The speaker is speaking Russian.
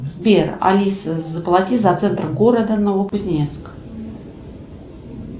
сбер алиса заплати за центр города новокузнецк